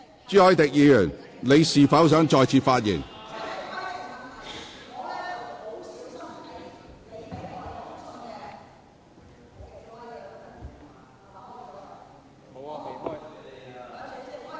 朱凱廸議員，你是否想再次發言？